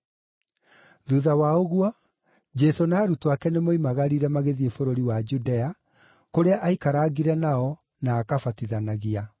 Thuutha wa ũguo, Jesũ na arutwo ake nĩmoimagarire magĩthiĩ bũrũri wa Judea, kũrĩa aikarangire nao, na akabatithanagia.